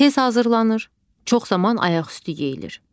Tez hazırlanır, çox zaman ayaqüstü yeyilir.